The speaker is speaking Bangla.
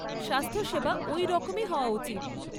স্বাস্থ্যসেবা ওই রকমই হওয়া উচিত।